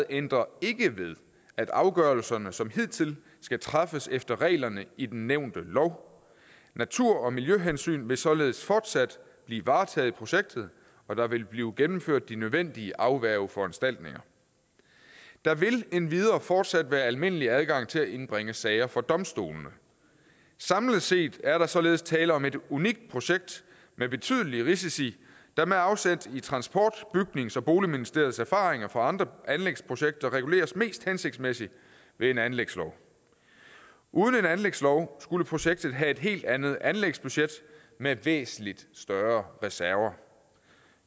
ændrer ikke ved at afgørelserne som hidtil skal træffes efter reglerne i den nævnte lov natur og miljøhensyn vil således fortsat blive varetaget i projektet og der vil blive gennemført de nødvendige afværgeforanstaltninger der vil endvidere fortsat være almindelig adgang til at indbringe sager for domstolene samlet set er der således tale om et unikt projekt med betydelige risici der med afsæt i transport bygnings og boligministeriets erfaringer fra andre anlægsprojekter reguleres mest hensigtsmæssigt ved en anlægslov uden en anlægslov skulle projektet have et helt andet anlægsbudget med væsentlig større reserver